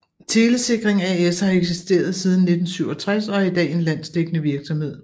Telesikring as har eksisteret siden 1967 og er i dag en landsdækkende virksomhed